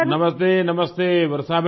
नमस्तेनमस्ते Varshaben